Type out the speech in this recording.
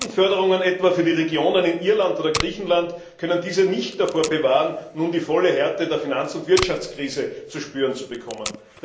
Milliardenförderungen etwa für die Regionen in Irland oder Griechenland konnten diese nicht davor bewahren, dass sie nun die volle Härte der Finanz und Wirtschaftskrise zu spüren bekommen.